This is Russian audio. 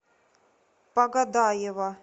погодаева